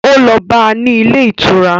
Ó lọ bá a ní ilé ìtura